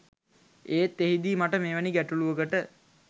ඒත් එහිදී මට මෙවැනි ගැටලුවකට